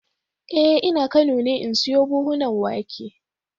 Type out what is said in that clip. Eh ina kano ne in siyo buhunan wake